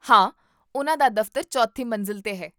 ਹਾਂ, ਉਹਨਾਂ ਦਾ ਦਫ਼ਤਰ ਚੌਥੀ ਮੰਜ਼ਿਲ 'ਤੇ ਹੈ